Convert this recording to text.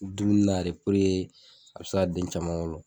I bi dumuni na de a be se ka den caman wolo.